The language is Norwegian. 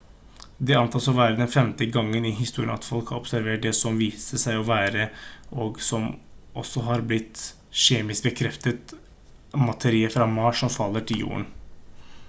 dette antas å være den femte gangen i historien at folk har observert det som viste seg å være og som også har blitt kjemisk bekreftet materie fra mars som faller til jorden